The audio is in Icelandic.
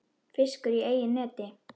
Fiskur í eigin neti.